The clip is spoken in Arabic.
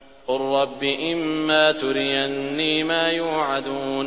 قُل رَّبِّ إِمَّا تُرِيَنِّي مَا يُوعَدُونَ